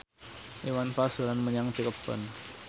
Iwan Fals dolan menyang Cirebon